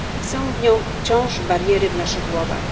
Są nią wciąż bariery w naszych głowach.